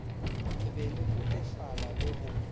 be le kotofala le go